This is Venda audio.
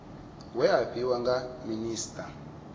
we a fhiwa nga minisita